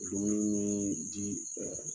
Dumuni min ji